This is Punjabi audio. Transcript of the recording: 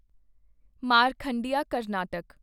ਮਾਰਖੰਡਿਆਂ ਕਰਨਾਟਕ